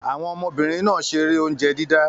Àwọn ọmọbìnrin náà ṣeré oúnjẹ dídá.